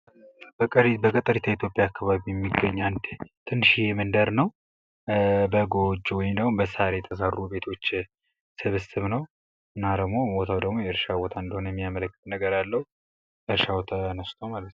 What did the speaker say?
በገጠሪቷ የኢትዮጵያ አከባቢ የሚገኝ አንድ ትንሺዬ መንደር ነው ፤ በጎች ወይም ደሞ በሳር የተሰሩ ቤቶች ስብስብ ነው ፤ እና ደሞ ቦታው ደሞ የእርሻ ቦታ እንደሆነ የሚያመላክት ነገር አለው፣ እርሻዉ ተነስቶ ማለት ነው።